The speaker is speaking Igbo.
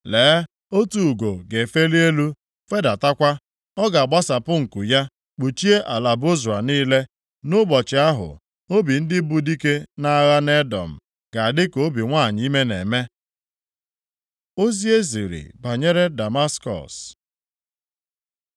Lee, otu ugo ga-efeli elu, fedatakwa. Ọ ga-agbasapụ nku ya kpuchie ala Bozra niile. Nʼụbọchị ahụ, obi ndị bu dike nʼagha nʼEdọm ga-adị ka obi nwanyị ime na-eme. Ozi e ziri banyere Damaskọs